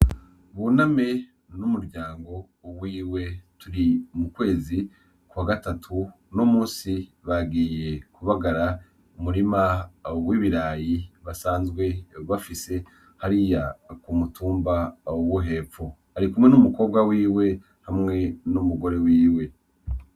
Buname n'umuryango wiwe turi mu kwezi kwa gatatu no musi bagiye kubagara umurima w’ibirayi basanzwe bafise hari ya ku mutumba wo hepfo ari kumwe n'umukobwa wiwe hamwe n'umugore wiwe.